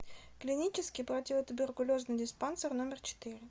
клинический противотуберкулезный диспансер номер четыре